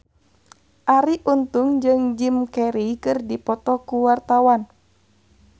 Arie Untung jeung Jim Carey keur dipoto ku wartawan